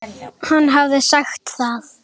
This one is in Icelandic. Hann hafði sagt það.